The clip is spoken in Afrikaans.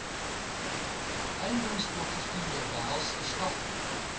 eiendomsportefeulje behels verskaffing